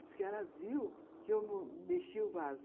Diz que ela viu que eu mexi o vaso.